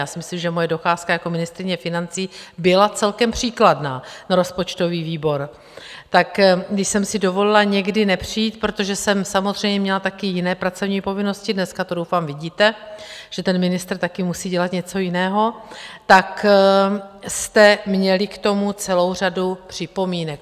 Já si myslím, že moje docházka jako ministryně financí byla celkem příkladná na rozpočtový výbor - tak když jsem si dovolila někdy nepřijít, protože jsem samozřejmě měla taky jiné pracovní povinnosti, dneska to doufám vidíte, že ten ministr taky musí dělat něco jiného, tak jste měli k tomu celou řadu připomínek.